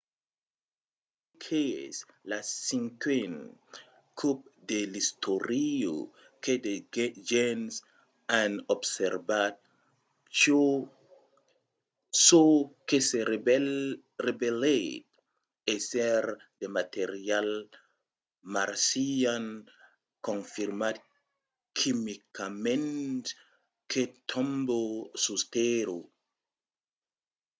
se crei qu’es lo cinquen còp de l’istòria que de gents an observat çò que se revelèt èsser de material marcian confirmat quimicament que tomba sus tèrra